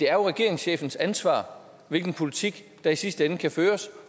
er regeringschefens ansvar hvilken politik der i sidste ende kan føres